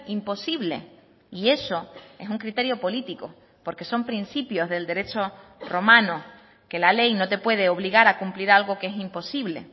imposible y eso es un criterio político porque son principios del derecho romano que la ley no te puede obligar a cumplir algo que es imposible